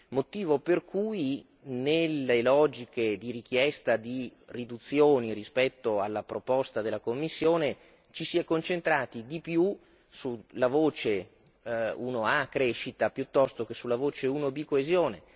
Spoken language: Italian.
Motivo per cui nelle logiche di richiesta di riduzioni rispetto alla proposta della Commissione, ci siamo concentrati di più sulla voce 1A Crescita piuttosto che sulla voce 1B Coesione.